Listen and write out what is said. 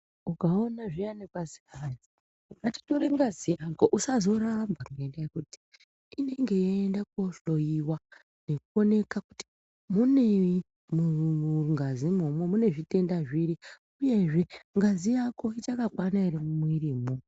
Ukaona zviyani kwazi hayi ngatitore ngazi yako usazoramba ngekuti hayi inenge yeiende kohloyiwa nekuoneka kuti munei mungazimwo imwomwo mune zvitenda zviri uyezve ngazi yako ichakakwana ere mumwiri imwomwo.